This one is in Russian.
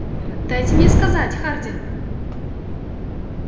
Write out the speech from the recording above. дайте мне сказать хардин